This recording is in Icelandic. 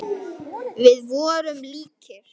Við vorum líkir.